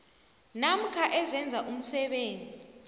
namkha ezenza umsebenzi